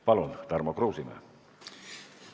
Palun, Tarmo Kruusimäe!